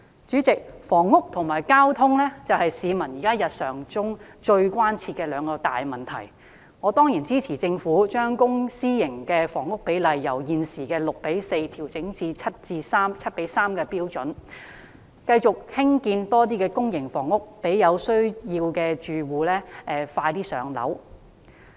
主席，房屋和交通是市民日常生活中最切身的兩大問題，我當然支持政府將公私營房屋比例由現時的 6：4 調整至 7：3 的標準，繼續興建更多公營房屋讓有需要的住戶能盡快"上樓"。